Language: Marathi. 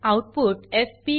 output FP